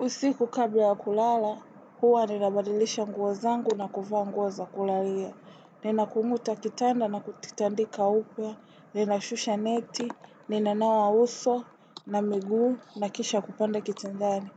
Usiku kabla ya kulala, huwa ninabadilisha nguo zangu na kuvaa nguo za kulalia. Nina kunguta kitanda na kulitandika upya, ninashusha neti, ninawa uso, na miguu, na kisha kupanda kitindani.